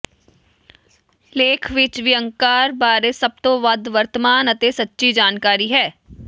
ਲੇਖ ਵਿੱਚ ਵਿਅੰਗਕਾਰ ਬਾਰੇ ਸਭ ਤੋਂ ਵੱਧ ਵਰਤਮਾਨ ਅਤੇ ਸੱਚੀ ਜਾਣਕਾਰੀ ਹੈ